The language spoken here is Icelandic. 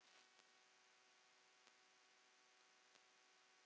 Hér er ekki kveðið myrkt.